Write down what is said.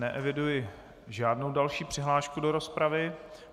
Neeviduji žádnou další přihlášku do rozpravy.